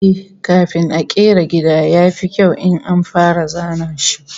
Eh, kafin a kera gida, ya fi kyau in an fara zana shi